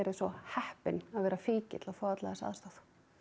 svo heppin að vera fíkill og fá alla þessa aðstoð